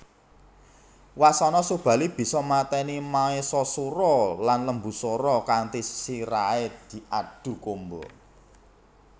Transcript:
Wasana Subali bisa mateni Maesasura lan Lembusura kanthi sirahe diadhu kumba